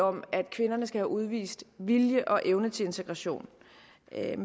om at kvinderne skal have udvist vilje og evne til integration